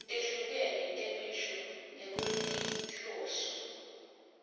letehlukene temisho ngekwetinhloso